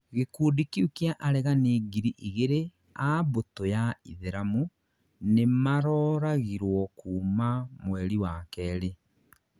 gĩkundi kĩu kĩa aregani ngiri igĩrĩ a mbutũ ya itheramu nĩmaroragĩrwo kuma mweri wa kerĩ.